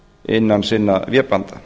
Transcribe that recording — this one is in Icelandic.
innan sinna vébanda